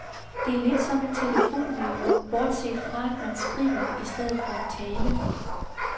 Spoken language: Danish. Det er lidt som et telefonmøde, bortset fra, at man skriver i stedet for at tale.